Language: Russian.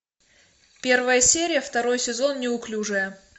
первая серия второй сезон неуклюжая